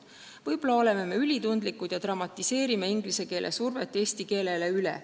Võib-olla oleme me ülitundlikud ja dramatiseerime inglise keele survest rääkides üle.